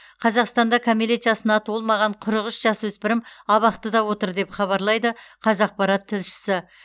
қазақстанда кәмелет жасына толмаған қырық үш жасөспірім абақтыда отыр деп хабарлайды қазақпарат тілшісі